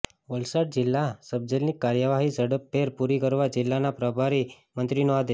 વલસાડ જિલ્લા સબજેલની કાર્યવાહી ઝડપભેર પુરી કરવા જિલ્લાના પ્રભારી મંત્રીનો આદેશ